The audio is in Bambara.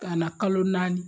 Ka na kalo naani